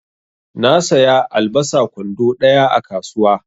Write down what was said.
Na saya albasa kwando ɗaya a kasuwa.